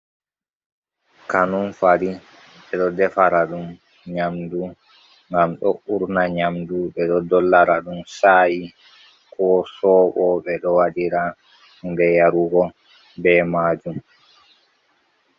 Kanunfari ɓe ɗo defara ɗum nyamdu gam ɗo urna nyamdu, ɓe ɗo dollara ɗum sayi ko sobo, ɓeɗo waɗira hunde yarugo be majum.